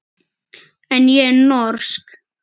En ég er norsk.